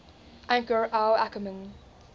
anchor al ackerman